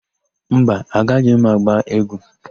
Mba, agaghị m agba égwú.